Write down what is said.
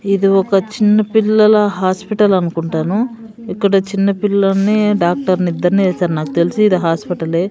ఏదో ఒక చిన్న పిల్లల హాస్పిటల్ అనుకుంటాను ఇక్కడ చిన్నపిల్లల్ని డాక్టర్ని ఇద్దరినీ ఏసారు నాకు తెలిసి ఇది హాస్పిటలే .